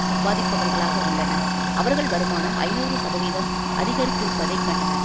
சம்பாதிப்பவர்களாக உள்ளனர் அவர்கள் வருமானம் ஐநூறு சதவீதம் அதிகரித்திருப்பதை கண்டனர்